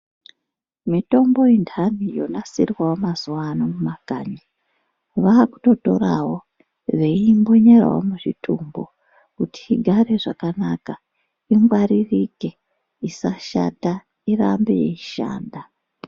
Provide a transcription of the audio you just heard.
Mitombo ye ndani yo nasirwawo ma zuva ano muma kanyi vakuto torawo vei mbunyirawo mu zvitumbu kuti igare zvakanaka ingwaririke isa shata irambe yeishanda.